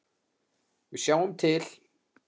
Við sjáum til.